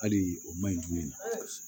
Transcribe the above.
Hali o man ɲi jumɛn